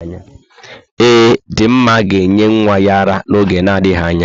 Ee, Dinma ga-enye nwa ya ara n'oge na adịghị anya.